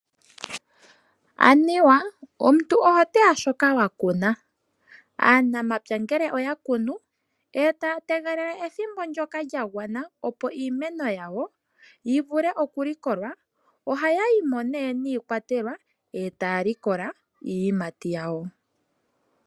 Anuwa omuntu oho teya shoka wakuna. Aanamapya ngele oyakunu e taya tegelele ethimbo ndoka lyagwana opo iimeno yawo yivule okulikolwa, ohaya yimo ne niikwatelwa e taya likola iiyimati yawo.